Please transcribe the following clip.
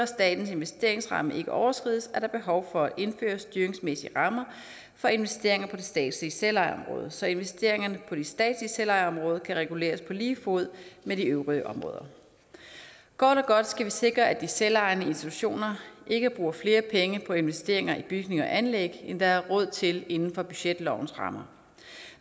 statens investeringsramme ikke overskrides er der behov for at indføre styringsmæssige rammer for investeringer på det statslige selvejeområde så investeringerne på det statslige selvejeområde kan reguleres på lige fod med de øvrige områder kort og godt skal vi sikre at de selvejende institutioner ikke bruger flere penge på investeringer i bygninger og anlæg end der er råd til inden for budgetlovens rammer